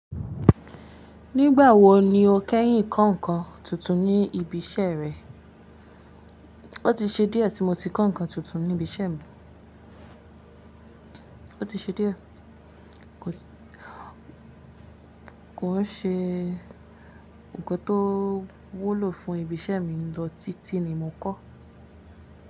Nígbà wo ni o kẹ́yìn kọ́ nǹkan tuntun ní ibi iṣẹ́ rẹ? Ó ti ṣe díẹ̀ tí mo ti kọ́ nǹkan tuntun ní ibi iṣẹ́ mi. Ó ti ṣe díẹ̀, kò ṣe ǹnkan tó wúlò fún ibi iṣẹ́ mi lọ títí ni mo kọ́.